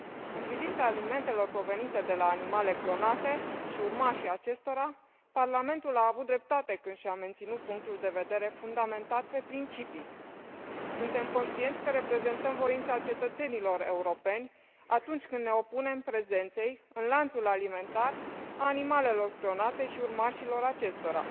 În privința alimentelor provenite de la animale clonate și urmașii acestora, Parlamentul a avut dreptate când și a menținut punctul de vedere fundamentat pe principii. Suntem conștienți că reprezentăm voința cetățenilor europeni atunci când ne opunem prezenței în lanțul alimentar a animalelor clonate și urmașilor acestora.